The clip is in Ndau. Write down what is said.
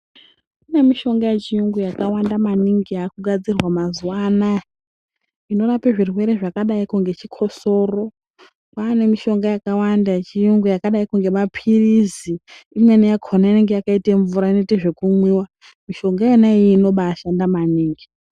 Kune mishonga yechiyungu akawanda maningi inogadzirwa mazuwa anaya inorape zvirwere zvakadaiko ngechikosoro pane mishonga yakawanda yechiyungu yakadaiko ngemapirizi imweni yakona yakaita mvura inoita vekumwiwa mishonga Yona iyoyo inobashanda maningi .